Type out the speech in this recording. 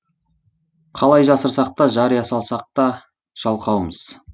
қалай жасырсақ та жария салсақта жалқаумыз